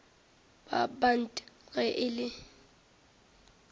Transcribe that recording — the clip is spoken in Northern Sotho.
ba bant ge e le